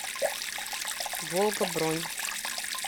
волга бронь